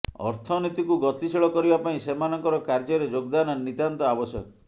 ଅର୍ଥନୀତିକୁ ଗତିଶୀଳ କରିବା ପାଇଁ ସେମାନଙ୍କର କାର୍ଯ୍ୟରେ ଯୋଗଦାନ ନିତାନ୍ତ ଆବଶ୍ୟକ